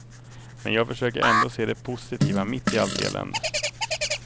Men jag försöker ändå se det positiva mitt i allt elände.